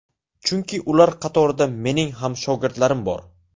Chunki ular qatorida mening ham shogirdlarim bor.